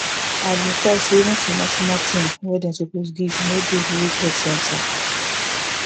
i bin talk say even small small thing wey dem suppose give no dey village health center